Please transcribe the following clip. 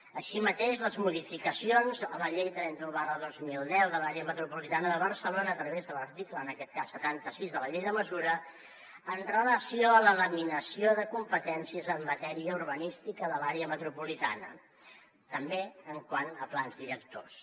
així mateix les modificacions a la llei trenta un dos mil deu de l’àrea metropolitana de barcelona a través de l’article en aquest cas setanta sis de la llei de mesures amb relació a la laminació de competències en matèria urbanística de l’àrea metropolitana també quant a plans directors